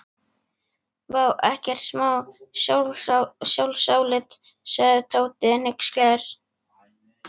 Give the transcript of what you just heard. Vá, ekkert smá sjálfsálit sagði Tóti hneykslaður.